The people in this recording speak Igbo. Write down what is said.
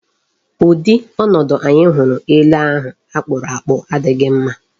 Ụdị ọnọdụ anyị hụrụ ele ahụ akpụrụ akpụ adịghị mma.